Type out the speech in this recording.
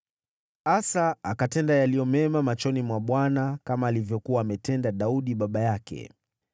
Asa akatenda yaliyo mema machoni mwa Bwana , kama alivyokuwa ametenda Daudi baba yake.